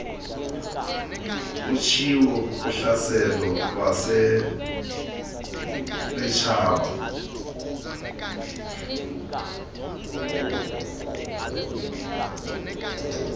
utshiwo kuhlaselo lweentshaba